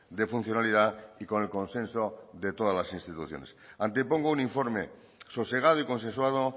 de funcionalidad y con el consenso de todas las instituciones antepongo un informe sosegado y consensuado